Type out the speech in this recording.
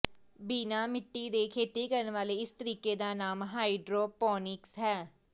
ਬਿਨਾਂ ਮਿੱਟੀ ਦੇ ਖੇਤੀ ਕਰਨ ਵਾਲੇ ਇਸ ਤਰੀਕੇ ਦਾ ਨਾਮ ਹਾਈਡ੍ਰੋਪੋਨਿਕਸ ਹੈ